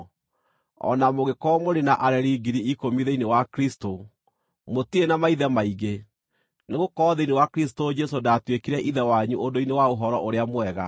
O na mũngĩkorwo mũrĩ na areri ngiri ikũmi thĩinĩ wa Kristũ, mũtirĩ na maithe maingĩ, nĩgũkorwo thĩinĩ wa Kristũ Jesũ ndaatuĩkire ithe wanyu ũndũ-inĩ wa Ũhoro-ũrĩa-Mwega.